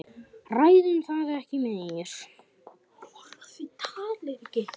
Ræðum það ekki meir.